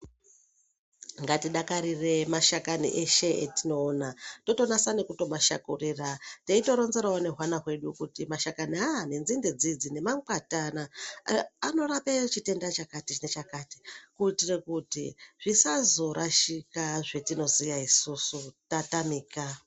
Ngatidakarire mashakani eshe etinoona totonasa nekuto mashakurira teito ronzerawo nehwana hedu kuti mashakani ayaya nenzinde dzidzi nemangwati anaya anorape chitenda chakatinechakati kuitire kuti zvisazorashika zvetonoziya isusu tatamika.